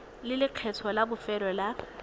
le lekgetho la bofelo la